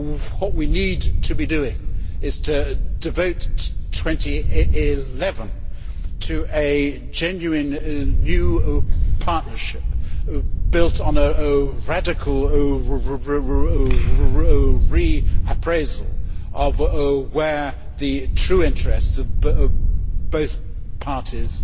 What we need to be doing is to devote 2011 to a genuine new partnership built on a radical reappraisal of where the true interests of both parties